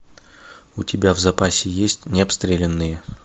у тебя в запасе есть необстрелянные